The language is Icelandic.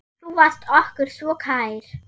Þú varst okkur svo kær.